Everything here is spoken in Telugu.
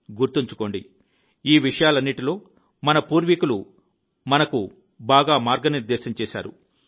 గుర్తుంచుకోండి ఈ విషయాలన్నిటిలో మన పూర్వీకులు మాకు బాగా మార్గనిర్దేశం చేశారు